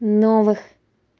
новых